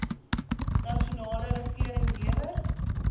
nasionale regering lewer